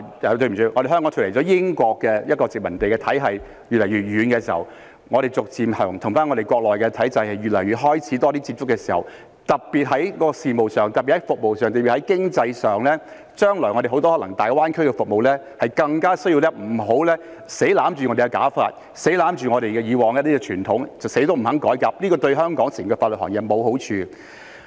對不起，是脫離了英國殖民地體系，走得越來越遠，並且與國內的體制開始有越來越多接觸時，在事務上、服務上或經濟上，我們將來可能會有很多大灣區的服務，那便更不應硬要抓着"假髮"和以往的傳統不放，死也不肯改革，這對香港整個法律行業並無好處。